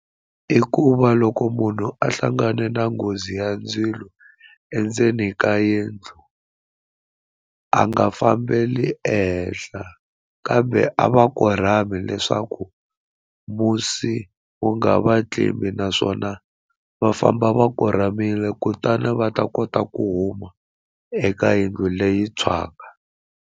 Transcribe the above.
I ku va loko munhu a hlangane na nghozi ya ndzilo endzeni ka yindlu a nga fambeli ehenhla kambe a va korhami leswaku musi wu nga va tlimbi naswona va famba va korhamile kutani va ta kota ku huma eka yindlu leyi tshwaka.